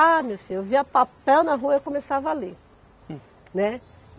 Ah, meu filho, eu via papel na rua, eu começava a ler. Né